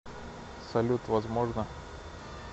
салют возможно